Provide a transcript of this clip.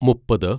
മുപ്പത്